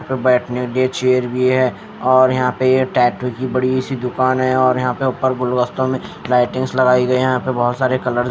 तो बैठने के लिए चेयर भी है और यहां पे ये टैटू की बड़ी सी दुकान है और यहां पे ऊपर गुलदस्तों में लाइटिंग्स लगाई गए हैं यहां पे बहुत सारे कलर --